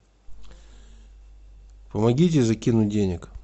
помогите закинуть денег